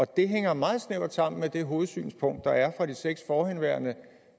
det hænger meget snævert sammen med det hovedsynspunkt der er fra de seks forhenværende